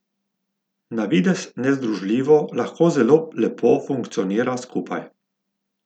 Na videz nezdružljivo lahko zelo lepo funkcionira skupaj.